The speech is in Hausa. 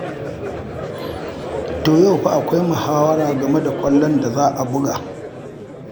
To yau fa akwai muhawara game da ƙwallon da za a buga.